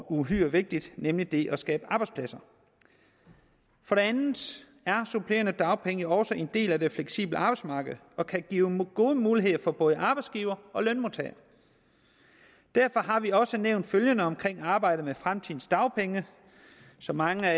uhyre vigtig nemlig det at skabe arbejdspladser for det andet er supplerende dagpenge jo også en del af det fleksible arbejdsmarked og kan give gode muligheder for både arbejdsgiver og lønmodtager derfor har vi også nævnt følgende om arbejdet med fremtidens dagpenge som mange